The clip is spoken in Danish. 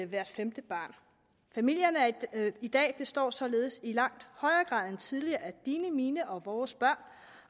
hvert femte barn familierne i dag består således i langt højere grad end tidligere af dine mine og vores børn